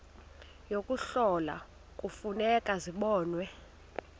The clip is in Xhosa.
yokuhlola kufuneka zibonwe